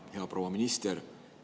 Hea proua minister!